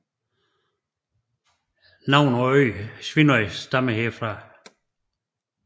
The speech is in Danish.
Navnet på øen Svínoy stammer derfra